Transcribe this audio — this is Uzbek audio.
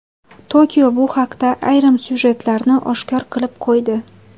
Tokio bu haqda ayrim syujetlarni oshkor qilib qo‘ydi.